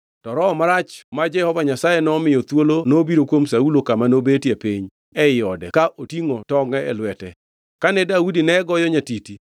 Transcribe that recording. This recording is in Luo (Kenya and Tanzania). To roho marach ma Jehova Nyasaye nomiyo thuolo nobiro kuom Saulo kama nobetie piny ei ode ka otingʼo tongʼe e lwete. Kane Daudi ne goyo nyatiti,